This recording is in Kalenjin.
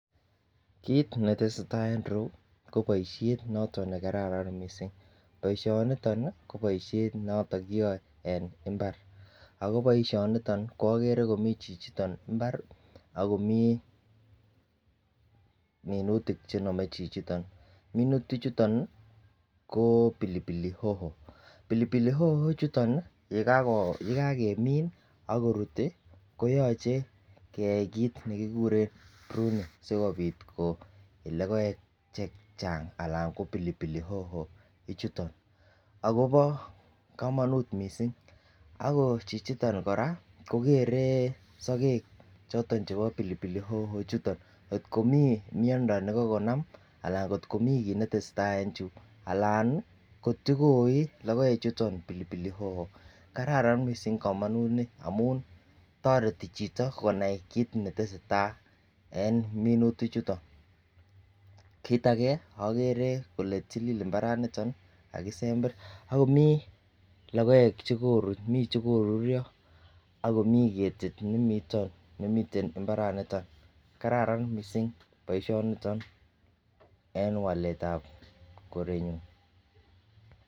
Kit netesetai en ireyu kobaishen nekararan mising ako baishet niton ko noton kiyae en imbar ako baishet niton agere komiten chichiton imbar akomi minutik chename chichiton minutik chuton ko pilipili hoho ,ako pilipili hoho chutonyekakeminbakorut koyache koyache keyai kit nekikuren pruning sikobit koiyo logoek chechang anan ko pilipili hoho chuton akobo kamanut mising ako Chichiton koraa kogeree sagek choton chebo pilipili hoho chuton kotko Mii miando nikokonam anan kotkomi kit netesetai en anan kotkokoyio pilipili hoho ako kararan baishoniton amun tareti Chito konai kit netesetai en minutik chuton kit age agere Kole till imbaret niton ako kakisember akomi logoek chekokirurio akomiten ketit nemiten imbaraniton kararan mising baishoniton en walet ab korenyun